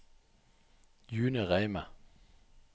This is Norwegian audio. June Reime